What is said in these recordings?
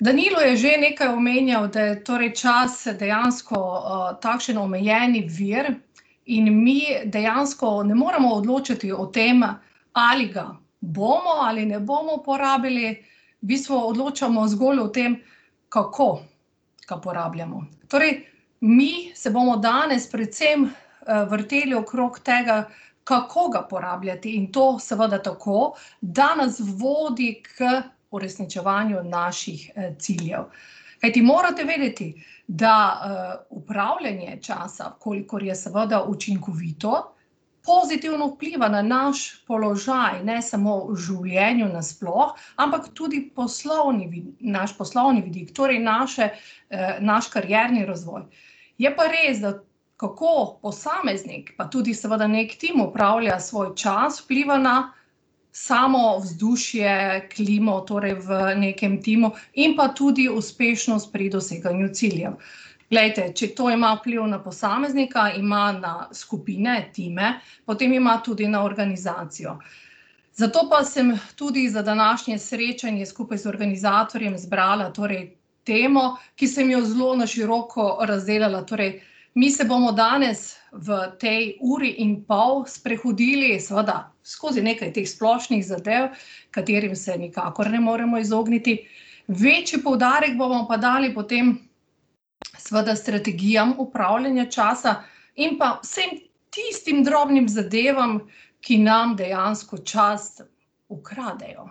Danilo je že nekaj omenjal, da je torej čas dejansko, takšen omejeni vir in mi dejansko ne moremo odločiti o tem, ali ga bomo ali ne bomo porabili, v bistvu odločamo zgolj o tem, kako ga uporabljamo. Torej mi se bomo danes predvsem, vrteli okrog tega, kako ga porabljati, in to seveda tako, da nas vodi k uresničevanju naših, ciljev. Kajti morate vedeti, da, upravljanje časa, kolikor je seveda učinkovito, pozitivno vpliva na naš položaj ne samo v življenju nasploh, ampak tudi poslovni naš poslovni vidik. Torej naše, naš karierni razvoj. Je pa res, da kako posameznik, pa tudi seveda neki tim, upravlja svoj čas, vpliva na samo vzdušje, klimo, torej v nekem timu in pa tudi uspešnost pri doseganju ciljev. Glejte, če to ima vpliv na posameznika, ima na skupine, time, potem ima tudi na organizacijo. Zato pa sem tudi za današnje srečanje skupaj z organizatorjem izbrala torej temo, ki sem jo zelo na široko razdelala. Torej mi se bomo danes v tej uri in pol sprehodili seveda skozi nekaj teh splošnih zadev, katerim se nikakor ne moremo izogniti, večji poudarek bomo pa dali potem seveda strategijam upravljanja časa in pa vsem tistim drobnim zadevam, ki nam dejansko čas ukradejo.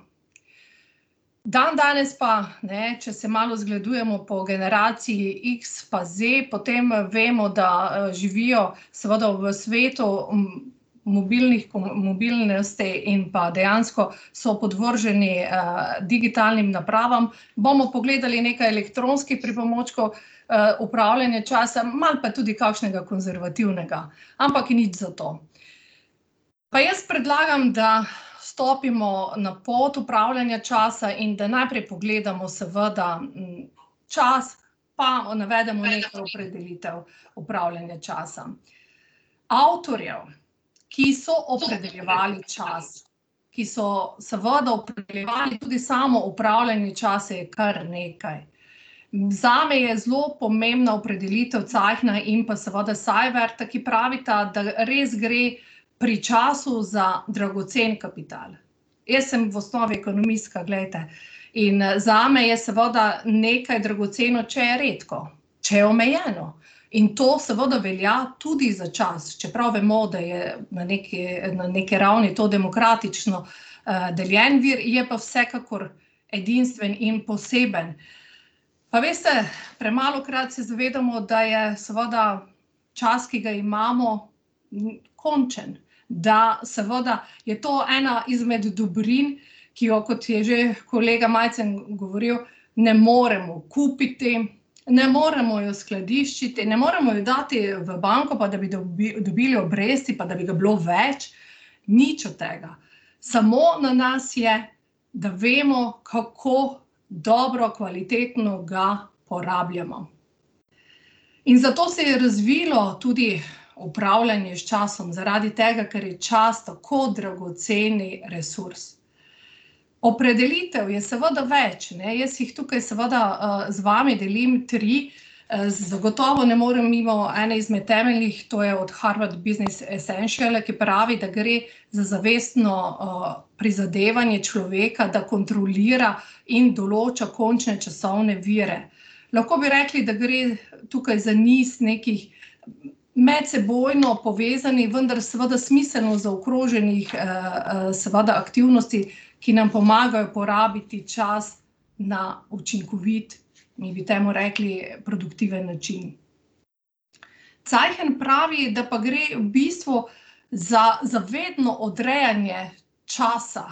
Dandanes pa, ne, če se malo zgledujemo po generaciji X pa zdaj, potem vemo, da, živijo seveda v svetu, mobilnih mobilnosti in pa dejansko so podvrženi, digitalnim napravam. Bomo pogledali nekaj elektronskih pripomočkov, upravljanja časa, malo pa tudi kakšnega konservativnega. Ampak nič za to. Pa jaz predlagam, da stopimo na pot upravljanja časa in da najprej pogledamo seveda, čas pa, navedemo nekaj opredelitev upravljanja časa. Avtorjev, ki so opredeljevali čas, ki so seveda opredeljevali tudi samo upravljanje časa, je kar nekaj. In zame je zelo pomembna opredelitev Zeichna in pa seveda Siverta, ki pravita, da res gre pri času za dragocen kapital. Jaz sem v osnovi ekonomistka, glejte, in, zame je seveda nekaj dragoceno, če je redko, če je omejeno. In to seveda velja tudi za čas, čeprav vemo, da je na nekaj, na neki ravni to demokratično, deljen vir, je pa vsekakor edinstven in poseben. Pa veste, premalokrat se zavedamo, da je seveda čas, ki ga imamo, končen. Da seveda je to ena izmed dobrin, ki jo, kot je že kolega Majcen govoril, ne moremo kupiti, ne moremo jo skladiščiti, ne moremo jo dati v banko, pa da bi dobili obresti pa da bi ga bilo več, nič od tega. Samo na nas je, da vemo, kako dobro, kvalitetno ga uporabljamo. In zato se je razvilo tudi upravljanje s časom, zaradi tega, ker je čas tako dragoceni resurs. Opredelitev je seveda več, ne, jaz jih tukaj seveda, z vami delim tri. zagotovo ne morem mimo ene izmed temeljnih, to je od Harvard business essentiala, ki pravi, da gre za zavestno, prizadevanje človeka, da kontrolira in določa končne časovne vire. Lahko bi rekli, da gre tukaj za niz nekih medsebojno povezanih, vendar seveda smiselno zaokroženih, seveda aktivnosti, ki nam pomagajo porabiti čas na učinkovit, mi bi temu rekli produktiven način. Zeichen pravi, da pa gre v bistvu za zavedno odrejanje časa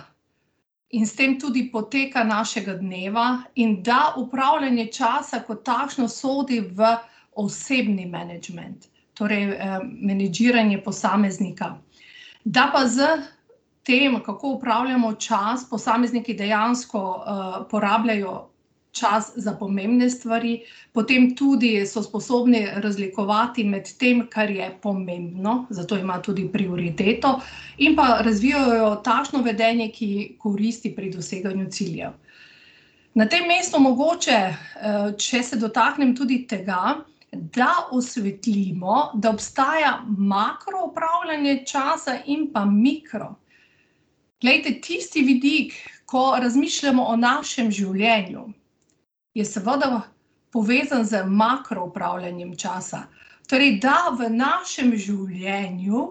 in s tem tudi poteka našega dneva in da upravljanje časa kot takšno sodi v osebni menedžment. Torej, menedžiranje posameznika. Da pa s tem, kako upravljamo čas, posamezniki dejansko, porabljajo čas za pomembne stvari, potem tudi so sposobni razlikovati med tem, kar je pomembno, zato ima tudi prioriteto, in pa razvijajo takšno vedenje, ki koristi pri doseganju ciljev. Na tem mestu mogoče, če se dotaknem tudi tega, da osvetlimo, da obstaja makroupravljanje časa in pa mikro. Glejte, tisti vidik, ko razmišljamo o našem življenju, je seveda povezan z makroupravljanjem časa. Torej, da v našem življenju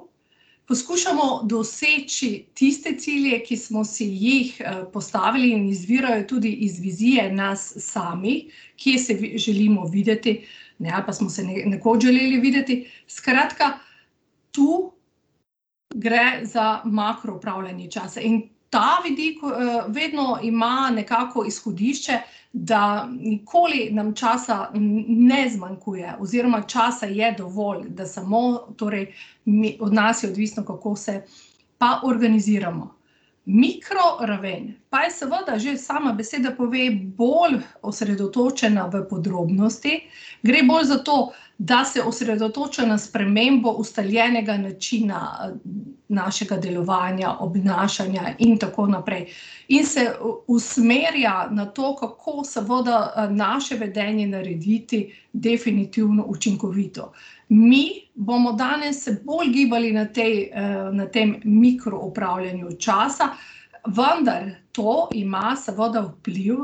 poskušamo doseči tiste cilje, ki smo si jih, postavili in izvirajo tudi iz vizije nas samih, kje se želimo videti, ne, ali pa smo se nekoč želeli videti. Skratka, tu gre za makroupravljanje časa. In ta vidik, vedno ima nekako izhodišče, da nikoli nam časa ne zmanjkuje oziroma časa je dovolj. Da samo torej od nas je odvisno, kako se pa organiziramo. Mikroraven pa je seveda, že sama beseda pove, bolj osredotočena v podrobnosti. Gre bolj za to, da se osredotoča na spremembo ustaljenega načina, našega delovanja, obnašanja in tako naprej in se usmerja na to, kako seveda, naše vedenje narediti definitivno učinkovito. Mi bomo danes se bolj gibali na tej, na tem mikroupravljanju časa, vendar to ima seveda vpliv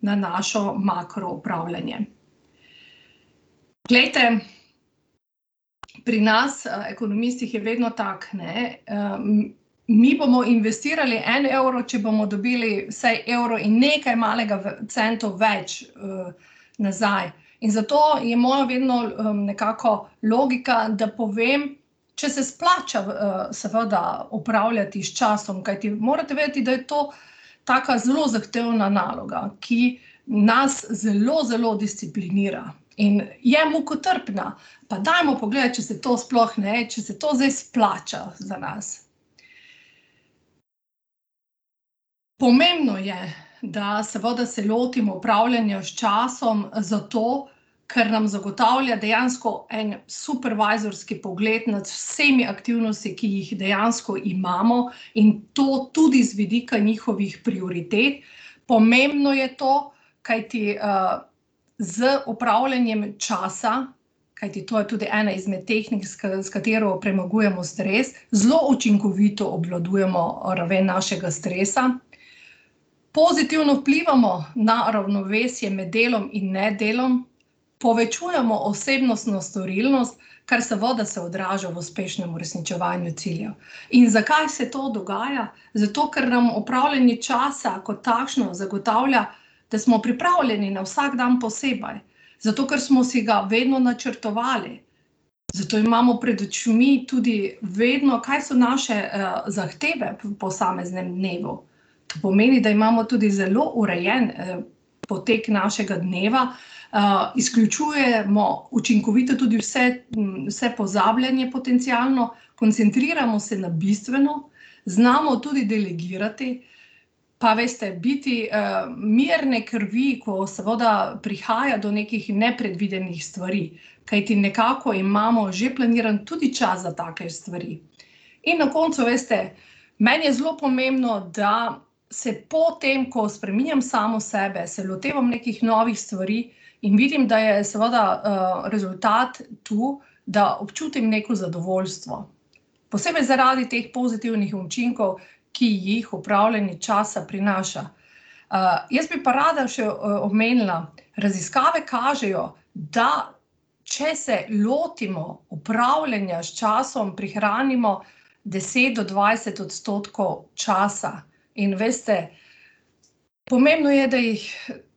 na našo makroupravljanje. Glejte, pri nas ekonomistih je vedno tako, ne, mi bomo investirali en evro, če bomo dobili vsaj evro in nekaj malega centov več, nazaj. In zato je moja vedno, nekako logika, da povem, če se splača, seveda, upravljati s časom. Kajti morate vedeti, da je to taka zelo zahtevna naloga, ki nas zelo, zelo disciplinira in je mukotrpna. Pa dajmo pogledati, če se to sploh, ne, če se to zdaj splača za nas. Pomembno je, da seveda se lotimo upravljanja s časom zato, kar nam zagotavlja dejansko en supervizorski pogled nad vsemi aktivnostmi, ki jih dejansko imamo, in to tudi z vidika njihovih prioritet. Pomembno je to, kajti, z upravljanjem časa, kajti to je tudi ena izmed tehnik, s s katero premagujemo stres, zelo učinkovito obvladujemo, raven našega stresa, pozitivno vplivamo na ravnovesje med delom in nedelom, povečujemo osebnostno storilnost, kar seveda se odraža v uspešnem uresničevanju ciljev. In zakaj se to dogaja? Zato ker nam upravljanje časa kot takšno zagotavlja, da smo pripravljeni na vsak dan posebej, zato ker smo si ga vedno načrtovali. Zato imamo pred očmi tudi vedno, kaj so naše, zahteve v posameznem dnevu. To pomeni, da imamo tudi zelo urejen, potek našega dneva, izključujemo učinkovito tudi vse, vse pozabljanje potencialno, koncentriramo se na bistveno, znamo tudi delegirati, pa veste, biti, mirne krvi, ko seveda prihaja do nekih nepredvidenih stvari. Kajti nekako imamo že planiran tudi čas za take stvari. In na koncu, veste, meni je zelo pomembno, da se po tem, ko spreminjam samo sebe, se lotevam nekih novih stvari, in vidim, da je seveda, rezultat tu, da občutim neko zadovoljstvo. Posebej zaradi teh pozitivnih učinkov, ki jih upravljanje časa prinaša. jaz bi pa rada še, omenila. Raziskave kažejo, da če se lotimo upravljanja s časom, prihranimo deset do dvajset odstotkov časa. In veste, pomembno je, da jih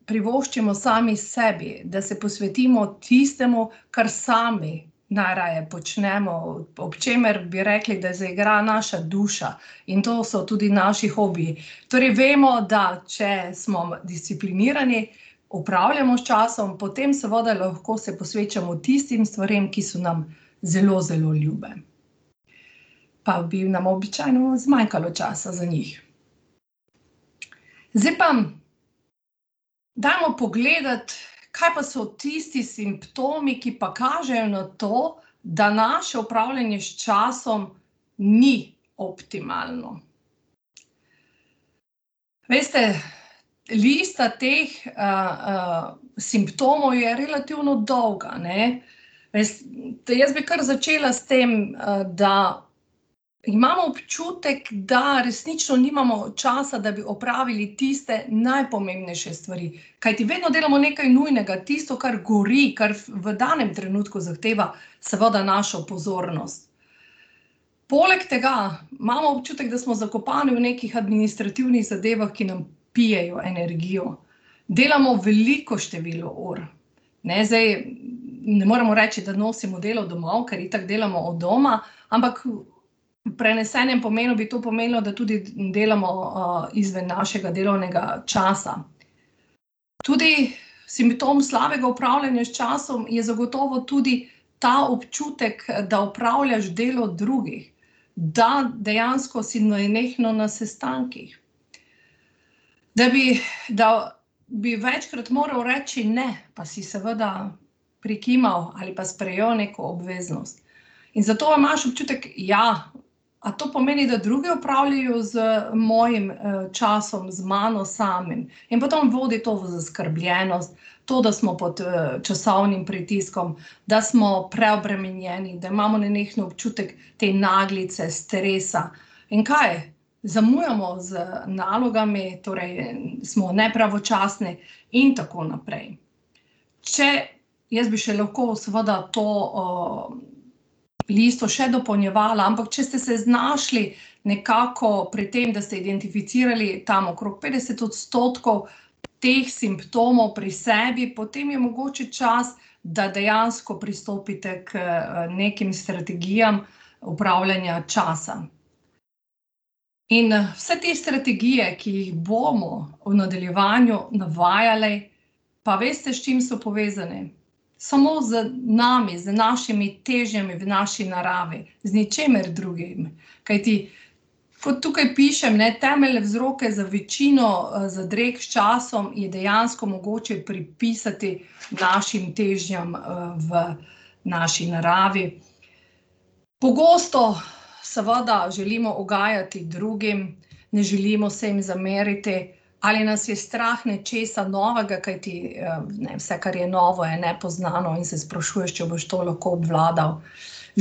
privoščimo sami sebi, da se posvetimo tistemu, kar sami najraje počnemo, ob čemer bi rekli, da zaigra naša duša. In to so tudi naši hobiji. Torej vemo, da če smo disciplinirani, upravljamo s časom, potem seveda lahko se posvečamo tistim stvarem, ki so nam zelo, zelo ljube, pa bi nam običajno zmanjkalo časa za njih. Zdaj pa dajmo pogledati, kaj pa so tisti simptomi, ki pa kažejo na to, da naše upravljanje s časom ni optimalno. Veste, lista teh, simptomov je relativno dolga, ne. Jaz bi kar začela s tem, da imam občutek, da resnično nimamo časa, da bi opravili tiste najpomembnejše stvari, kajti vedno delamo nekaj nujnega, tisto, kar gori, kar v danem trenutku zahteva seveda našo pozornost. Poleg tega imamo občutek, da smo zakopani v nekih administrativnih zadevah, ki nam pijejo energijo. Delamo veliko število ur, ne. Zdaj, ne moramo reči, da nosimo delo domov, ker itak delamo od doma, ampak v prenesenem pomenu bi to pomenilo, da tudi delamo, izven našega delovnega časa. Tudi simptom slabega upravljanja s časom je zagotovo tudi ta občutek, da opravljaš delo drugih, da dejansko si nenehno na sestankih, da bi, da bi večkrat moral reči ne, pa si seveda prikimal ali pa sprejel neko obveznost. In zato pa imaš občutek, ja, a to pomeni, da drugi upravljajo z mojim, časom, z mano samim? In potem vodi to v zaskrbljenost, to, da smo pod, časovnim pritiskom, da smo preobremenjeni, da imamo nenehno občutek te naglice, stresa. In kaj? Zamujamo z nalogami, torej, smo nepravočasni in tako naprej. Če, jaz bi še lahko seveda to, listo še dopolnjevala. Ampak če ste se znašli nekako pri tem, da ste identificirali tam okrog petdeset odstotkov teh simptomov pri sebi, potem je mogoče čas, da dejansko pristopite k, nekim strategijam upravljanja časa. In, vse te strategije, ki jih bomo v nadaljevanju navajali, pa veste, s čim so povezane? Samo z nami, z našimi težnjami v naši naravi. Z ničemer drugim. Kajti kot tukaj pišem, ne, temeljne vzroke za večino, zadreg s časom je dejansko mogoče pripisati našim težnjam, v naši naravi. Pogosto seveda želimo ugajati drugim, ne želimo se jim zameriti ali nas je strah nečesa novega, kajti, ne, vse, kar je novo, je nepoznano in se sprašuješ, če boš to lahko obvladal.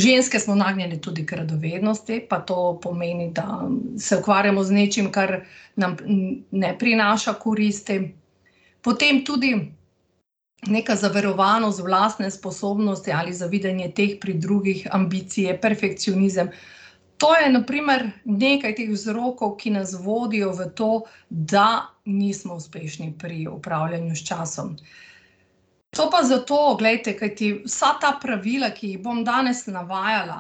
Ženske smo nagnjene tudi k radovednosti, pa to pomeni, da se ukvarjamo z nečim, kar nam ne prinaša koristi. Potem tudi neka zaverovanost v lastne sposobnosti ali zavidanje teh pri drugih, ambicije, perfekcionizem. To je na primer nekaj teh vzrokov, ki nas vodijo v to, da nismo uspešni pri upravljanju s časom. To pa zato, glejte, kajti vsa ta pravila, ki jih bom danes navajala,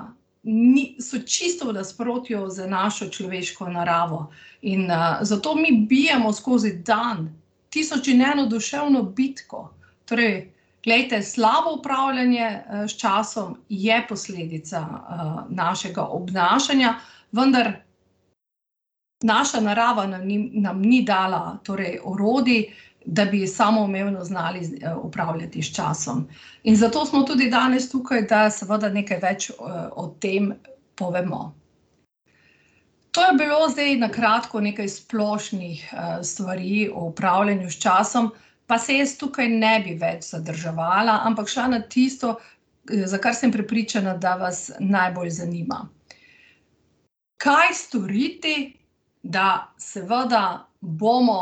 so čisto v nasprotju z našo človeško naravo. In, zato mi bijemo skozi dan tisoč in eno duševno bitko. Torej, glejte, slabo upravljanje, s časom je posledica, našega obnašanja, vendar naša narava nam ni dala torej orodij, da bi samoumevno znali upravljati s časom. In zato smo tudi danes tukaj, da seveda nekaj več, o tem povemo. To je bilo zdaj na kratko nekaj splošnih, stvari o upravljanju s časom, pa se jaz tukaj ne bi več zadrževala, ampak šla na tisto, za kar sem prepričana, da vas najbolj znima. Kaj storiti, da seveda bomo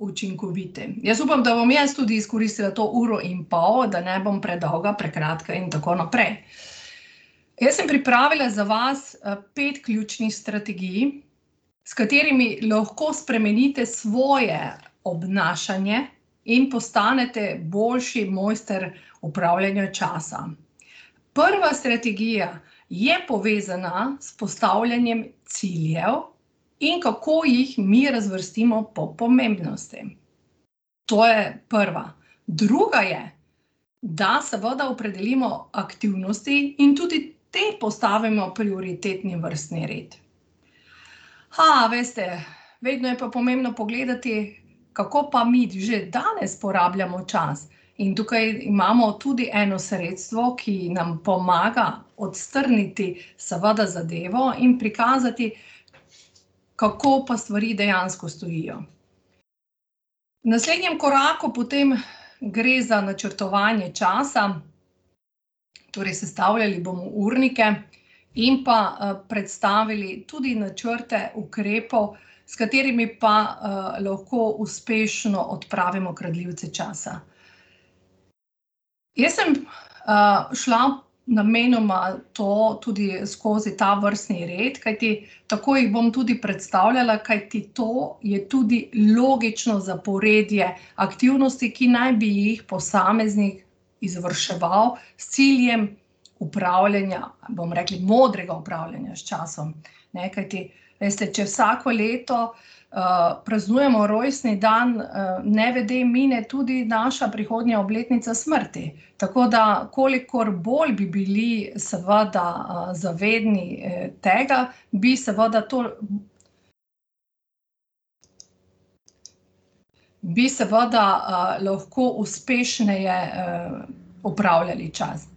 učinkoviti? Jaz upam, da bom jaz tudi izkoristila to uro in pol, da ne bom predolga, prekratka in tako naprej. Jaz sem pripravila za vas, pet ključnih strategij, s katerimi lahko spremenite svoje obnašanje in postanete boljši mojster upravljanja časa. Prva strategija je povezana s postavljanjem ciljev in kako jih mi razvrstimo po pomembnosti. To je prva. Druga je, da seveda opredelimo aktivnosti in tudi te postavimo v prioritetni vrstni red. veste, vedno je pa pomembno pogledati, kako pa mi že danes uporabljamo čas. In tukaj imamo tudi eno sredstvo, ki nam pomaga odstrniti seveda zadevo in prikazati, kako pa stvari dejansko stojijo. V naslednjem koraku potem gre za načrtovanje časa, torej sestavljali bomo urnike in pa, predstavili tudi načrte ukrepov, s katerimi pa, lahko uspešno odpravimo kradljivce časa. Jaz sem, šla namenoma to tudi skozi, ta vrstni red, kajti tako jih bom tudi predstavljala, kajti to je tudi logično zaporedje aktivnosti, ki naj bi jih posameznik izvrševal s ciljem upravljanja, bomo rekli, modrega upravljanja s časom, ne, kajti, veste, če vsako leto, praznujemo rojstni dan, nevede mine tudi naša prihodnja obletnica smrti. Tako da kolikor bolj bi bili seveda, zavedni, tega, bi seveda to bi seveda, lahko uspešneje, upravljali čas.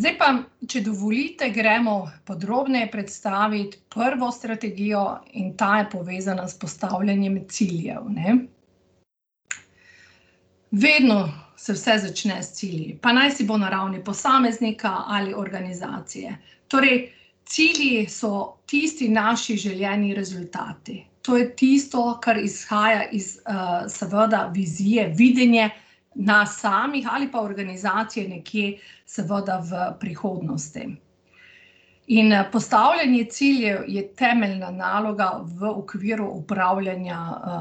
Zdaj pa, če dovolite, gremo podrobneje predstaviti prvo strategijo in ta je povezana s postavljanjem ciljev, ne. Vedno se vse začne s cilji, pa najsi bo na ravni posameznika ali organizacije. Torej cilji so tisti naši želeni rezultati. To je tisto, kar izhaja iz, seveda vizije, videnje nas samih ali pa organizacije nekje seveda v prihodnosti. In, postavljanje ciljev je temeljna naloga v okviru upravljanja,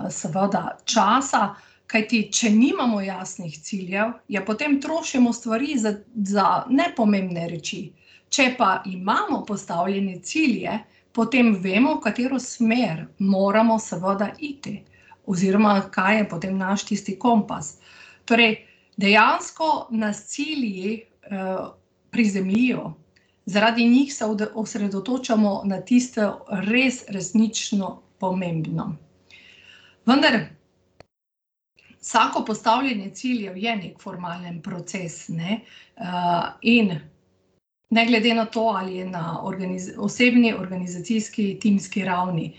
seveda časa, kajti če nimamo jasnih ciljev, ja, potem trošimo stvari za, za nepomembne reči. Če pa imamo postavljene cilje, potem vemo, v katero smer moramo seveda iti oziroma kaj je potem naš tisti kompas. Torej dejansko nas cilji, prizemljijo. Zaradi njih se osredotočamo na tisto res, resnično pomembno. Vendar vsako postavljanje ciljev je neki formalen proces, ne. in ne glede na to, ali je na osebni, organizacijski, timski ravni.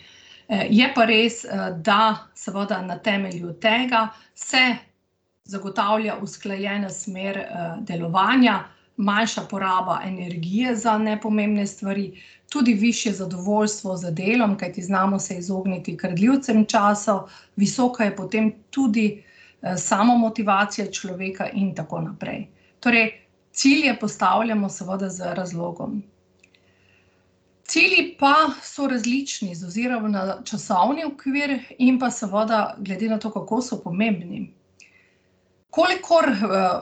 je pa res, da seveda na temelju tega se zagotavlja usklajena smer, delovanja, manjša poraba energije za nepomembne stvari, tudi višje zadovoljstvo z delom, kajti znamo se izogniti kradljivcem časa, visoka je potem tudi, samomotivacija človeka in tako naprej. Torej cilje postavljamo seveda z razlogom. Cilji pa so različni z ozirom na časovni okvir in pa seveda glede na to, kako so pomembni. Kolikor,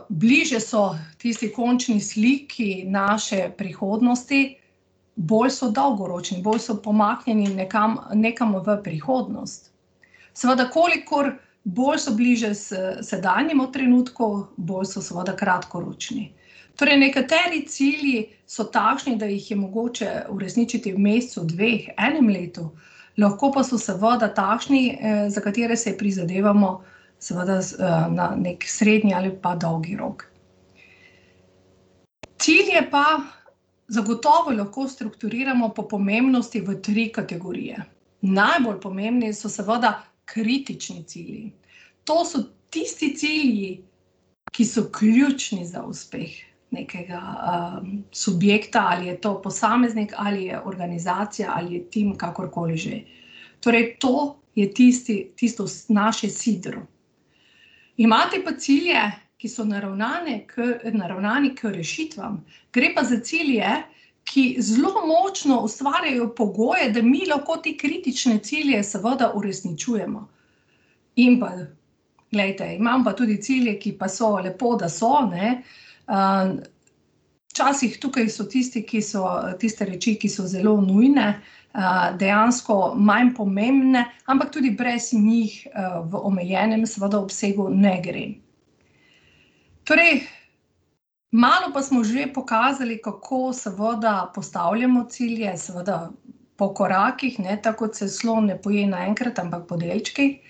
bliže so tisti končni sliki naše prihodnosti, bolj so dolgoročni, bolj so pomaknjeni nekam, nekam v prihodnost. Seveda kolikor bolj so bliže s sedanjemu trenutku, bolj so seveda kratkoročni. Torej, nekateri cilji so takšni, da jih je mogoče uresničiti v mesecu, dveh, enem letu, lahko pa so seveda takšni, za katere se prizadevamo seveda, na neki srednji ali pa dolgi rok. Cilje pa zagotovo lahko strukturiramo po pomembnosti v tri kategorije. Najbolj pomembni so seveda kritični cilji. To so tisti cilji, ki so ključni za uspeh nekega, subjekta, ali je to posameznik, ali je organizacija, ali je tim, kakorkoli že. Torej to je tisti, tisto naše sidro. Imate pa cilje, ki so naravnani naravnani k rešitvam. Gre pa za cilje, ki zelo močno ustvarjajo pogoje, da mi lahko te kritične cilje seveda uresničujemo. In pa, glejte, imam pa tudi cilje, ki pa so, lepo, da so, ne, včasih tukaj so tisti, ki so, tiste reči, ki so zelo nujne, dejansko manj pomembne, ampak tudi brez njih, v omejenem seveda obsegu ne gre. Torej malo pa smo že pokazali, kako seveda postavljamo cilje, seveda po korakih, ne, tako kot se slon ne poje naenkrat, ampak po delčkih.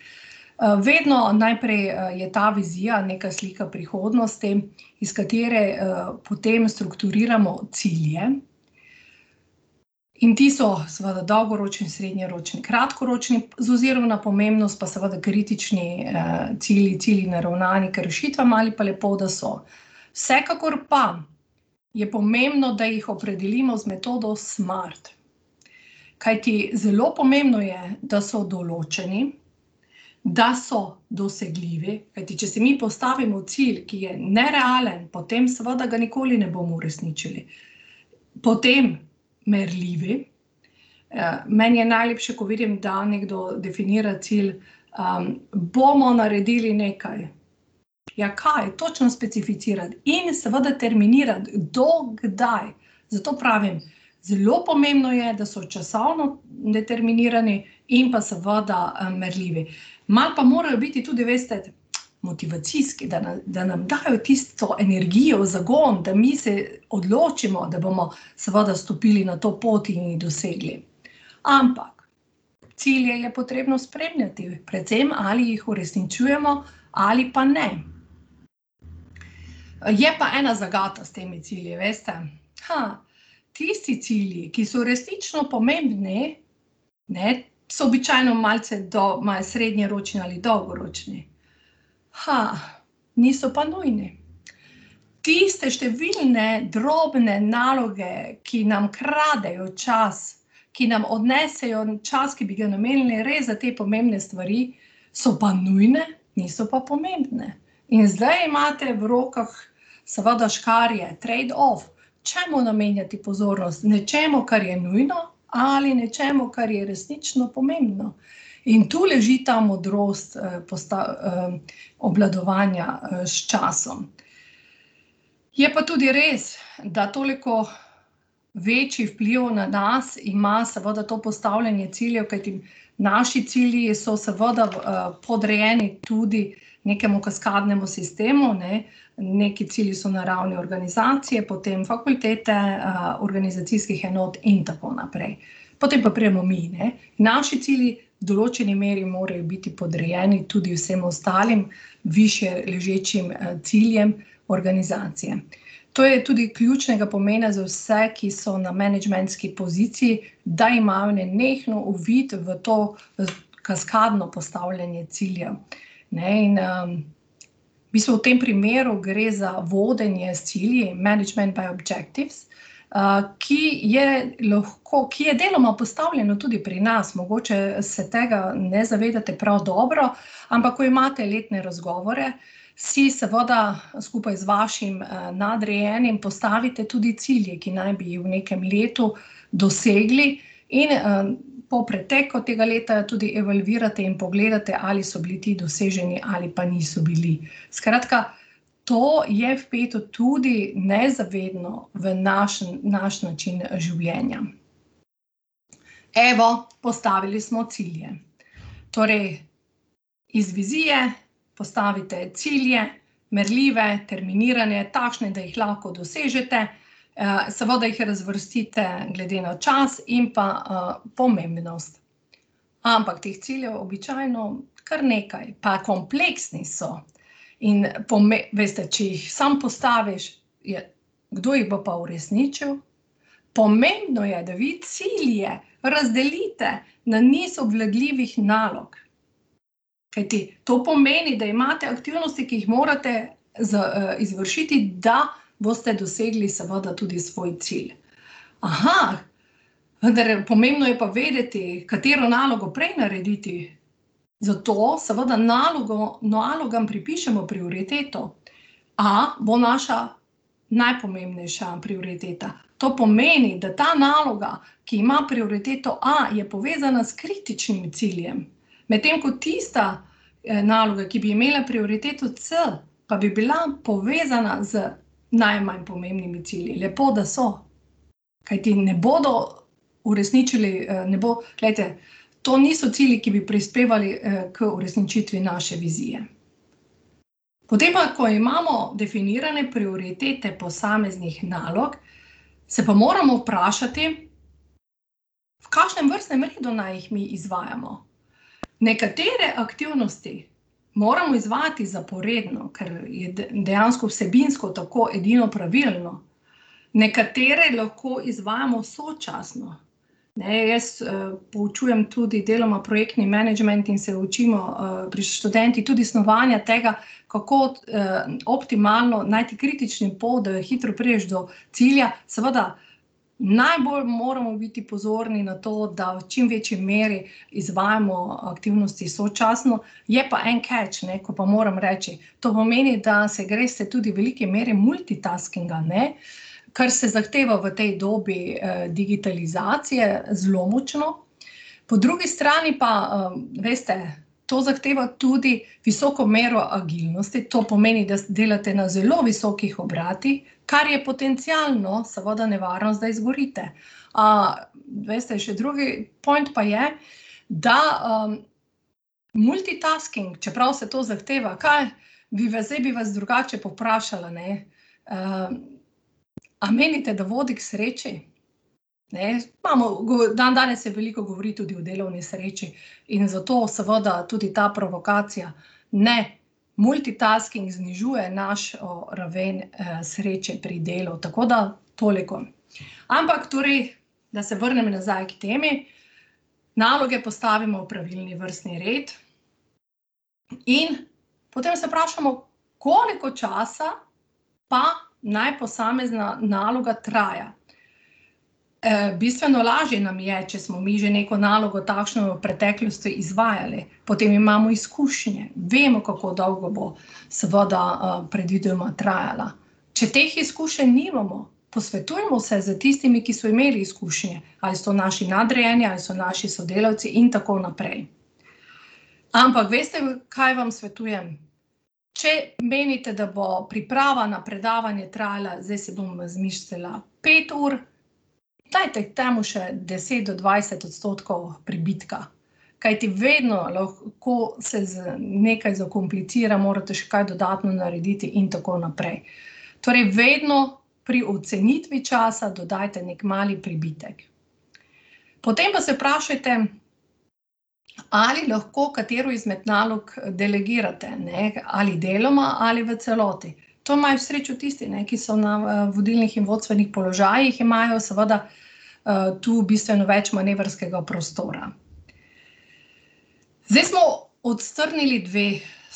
vedno najprej je ta vizija, neka slika prihodnosti, iz katere, potem strukturiramo cilje in ti so seveda dolgoročni, srednjeročni, kratkoročni, z ozirom na pomembnost pa seveda kritični, cilji, cilji, naravnani k rešitvam ali pa lepo, da so. Vsekakor pa je pomembno, da jih opredelimo z metodo Smart, kajti zelo pomembno je, da so določeni, da so dosegljivi, kajti če si mi postavimo cilj, ki je nerealen, potem seveda ga nikoli ne bomo uresničili. Potem merljivi. meni je najlepše, ko vidim, da nekdo definira cilj, bomo naredili nekaj. Ja, kaj? Točno specificirati in seveda determinirati, do kdaj. Zato pravim, zelo pomembno je, da so časovno determinirani in pa seveda, merljivi. Malo pa morajo biti tudi, veste, motivacijski, da da nam dajo tisto energijo, zagon, da mi se odločimo, da bomo seveda stopili na to pot in jih dosegli. Ampak cilje je potrebno spremljati. Predvsem, ali jih uresničujemo ali pa ne. Je pa ena zagata s temi cilji, veste. tisti cilji, ki so resnično pomembni, ne, so običajno malce malo srednjeročni ali dolgoročni. niso pa nujni. Tiste številne drobne naloge, ki nam kradejo čas, ki nam odnesejo čas, ki bi ga namenili res za te pomembne stvari, so pa nujne, niso pa pomembne. In zdaj imate v rokah seveda škarje, trade off, čemu namenjati pozornost? Nečemu, kar je nujno, ali nečemu, kar je resnično pomembno? In tu leži ta modrost obvladovanja, s časom. Je pa tudi res, da toliko večji vpliv na nas ima seveda to postavljanje ciljev, kajti naši cilji so seveda, podrejeni tudi nekemu kaskadnemu sistemu, ne. Neki cilji so na ravni organizacije, potem fakultete, organizacijskih enot in tako naprej. Potem pa pridemo mi, ne. Naši cilji v določeni meri morajo biti podrejeni tudi vsem ostalim, višje ležečim, ciljem organizacije. To je tudi ključnega pomena za vse, ki so na menedžmentski poziciji, da imajo nenehno uvid v to, kaskadno postavljanje ciljev, ne, in, v bistvu v tem primeru gre za vodenje s cilji, management by objectives, ki je lahko, ki je deloma postavljeno tudi pri nas, mogoče se tega ne zavedate prav dobro. Ampak ko imate letne razgovore, si seveda, skupaj z vašim, nadrejenim postavite tudi cilje, ki naj bi jih v nekem letu dosegli, in, po preteku tega leta tudi evalvirate in pogledate, ali so bili ti doseženi ali pa niso bili. Skratka, to je vpeto tudi nezavedno v naš naš način življenja. Evo, postavili smo cilje. Torej iz vizije postavite cilje, merljive, terminirane, takšne, da jih lahko dosežete, seveda jih razvrstite glede na čas in pa, pomembnost. Ampak teh ciljev običajno kar nekaj, pa kompleksni so. In veste, če jih samo postaviš, ja, kdo jih bo pa uresničil? Pomembno je, da vi cilje razdelite na niz obvladljivih nalog, kajti to pomeni, da imate aktivnosti, ki jih morate izvršiti, da boste dosegli seveda tudi svoj cilj. vendar pomembno je pa vedeti, katero nalogo prej narediti, zato seveda nalogo, nalogam pripišemo prioriteto. A bo naša najpomembnejša prioriteta. To pomeni, da ta naloga, ki ima prioriteto a, je povezana s kritičnim ciljem, medtem ko tista, naloga, ki bi imela prioriteto c, pa bi bila povezana z najmanj pomembnimi cilji, lepo, da so. Kajti ne bodo uresničili, ne bo, glejte, to niso cilji, ki bi prispevali, k uresničitvi naše vizije. Potem pa ko imamo definirane prioritete posameznih nalog, se pa moramo vprašati, v kakšnem vrstnem redu naj jih mi izvajamo. Nekatere aktivnosti moramo izvajati zaporedno, kar je dejansko vsebinsko tako edino pravilno. Nekatere lahko izvajamo sočasno, ne, jaz, poučujem tudi deloma projektni menedžment in se učimo, s študenti tudi snovanja tega, kako, optimalno najti kritični pot, da hitro prišel do cilja. Seveda najbolj moramo biti pozorni na to, da v čim večji meri izvajamo, aktivnosti sočasno, je pa en keč, ne, ko pa moram reči, to pomeni, da se greste tudi v veliki meri multitaskinga, ne, kar se zahteva v tej dobi, digitalizacije zelo močno, po drugi strani pa, veste, to zahteva tudi visoko mero agilnosti, to pomeni, da delate na zelo visokih obratih, kar je potencialno seveda nevarnost, da izgorite. veste, še drugi point pa je, da, multitasking, čeprav se to zahteva, kaj bi vas, zdaj bi vas drugače povprašala, ne, a menite, da vodi k sreči? Ne, imamo, dandanes se veliko govori tudi o delovni sreči in zato seveda tudi ta provokacija. Ne. Multitasking znižuje našo raven, sreče pri delu. Tako da toliko. Ampak torej, da se vrnem nazaj k temi. Naloge postavimo v pravilni vrstni red in potem se vprašamo, koliko časa pa naj posamezna naloga traja. bistveno lažje nam je, če smo mi že neko nalogo takšno v preteklosti izvajali, potem imamo izkušnje, vemo, kako dolgo bo seveda, predvidoma trajala. Če teh izkušenj nimamo, posvetujmo se s tistimi, ki so imeli izkušnje. Ali so naši nadrejeni, ali so naši sodelavci in tako naprej. Ampak veste, kaj vam svetujem? Če menite, da bo priprava na predavanje trajala, zdaj si bom izmislila, pet ur, dajte, dajmo še deset do dvajset odstotkov pribitka. Kajti vedno lahko se nekaj zakomplicira, morate še kaj dodatno narediti in tako naprej. Torej vedno pri ocenitvi časa dodajte neki mali pribitek. Potem pa se vprašajte, ali lahko katero izmed nalog delegirate, ne, ali deloma ali v celoti. To imajo srečo tisti, ne, ki so na, vodilnih in vodstvenih položajih, imajo seveda, tu bistveno več manevrskega prostora. Zdaj smo odstrnili dve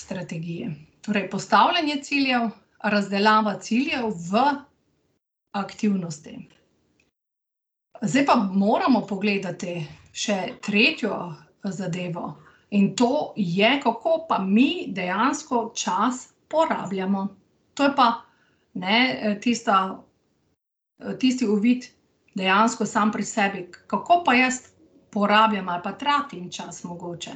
strategiji. Torej postavljanje ciljev, razdelava ciljev v aktivnosti. Zdaj pa moramo pogledati še tretjo zadevo, in to je, kako pa mi dejansko čas uporabljamo. To je pa, ne, tista, tisti uvid dejansko sam pri sebi, kako pa jaz porabljam ali pa tratim čas mogoče.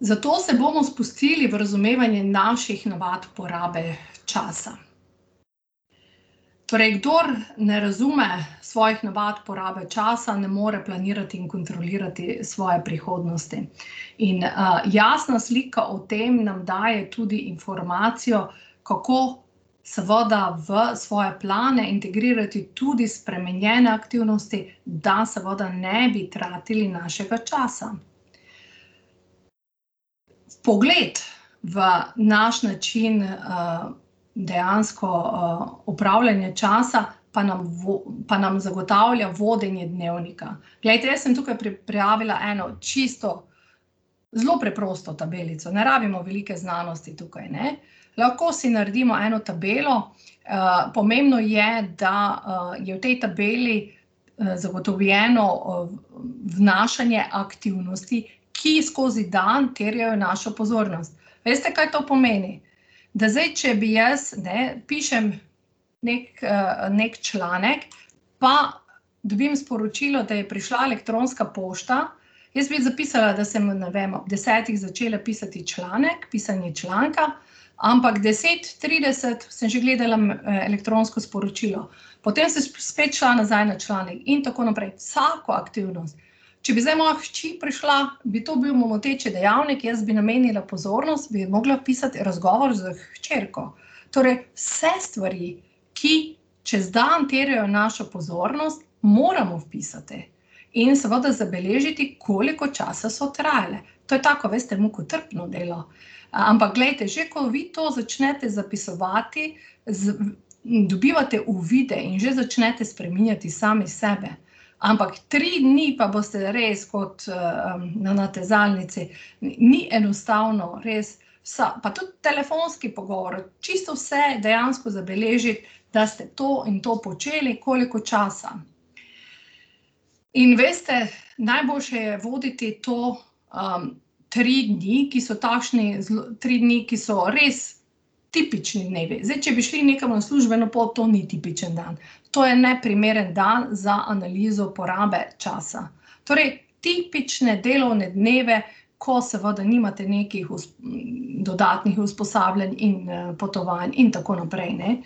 Zato se bomo spustili v razumevanje naših navad porabe časa. Torej kdor ne razume svojih navad porabe časa, ne more planirati in kontrolirati svoje prihodnosti. In, jasna slika o tem nam daje tudi informacijo, kako seveda v svoje plane integrirati tudi spremenjene aktivnosti, da seveda ne bi tratili našega časa. Pogled v naš način, dejansko, upravljanja časa pa pa nam zagotavlja vodenje dnevnika. Glejte, jaz sem tukaj pripravila eno čisto zelo preprosto tabelico, ne rabimo velike znanosti tukaj, ne. Lahko si naredimo eno tabelo, pomembno je, da, je v tej tabeli, zagotovljeno, vnašanje aktivnosti, ki skozi dan terjajo našo pozornost. Veste, kaj to pomeni? Da zdaj, če bi jaz, ne, pišem neki, neki članek pa dobim sporočilo, da je prišla elektronska pošta, jaz bi zapisala, da sem, ne vem, ob desetih začela pisati članek, pisanje članka, ampak deset trideset sem že gledala elektronsko sporočilo. Potem sem spet šla nazaj na članek in tako naprej. Vsako aktivnost. Če bi zdaj moja hči prišla, bi to bil moteči dejavnik, jaz bi ji namenila pozornost, bi mogla vpisati razgovor z hčerko. Torej vse stvari, ki čez dan terjajo našo pozornost, moramo vpisati. In seveda zabeležiti, koliko časa so trajale. To je tako, veste, mukotrpno delo. Ampak glejte, že ko vi to začnete zapisovati, in dobivate uvide in že začnete spreminjati sami sebe. Ampak tri dni pa boste res kot, na natezalnici. Ni enostavno, res, pa tudi telefonski pogovor, čisto vse dejansko zabeležiti, da ste to in to počeli, koliko časa. In veste, najboljše je voditi to, tri dni, ki so takšni tri dni, ki so res tipični dnevi. Zdaj, če bi šli nekam na službeno pot, to ni tipičen dan. To je neprimeren dan za analizo porabe časa. Torej tipične delovne dneve, ko seveda nimate nekih dodatnih usposabljanj in, potovanj in tako naprej, ne.